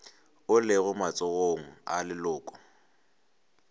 o lego matsogong a leloko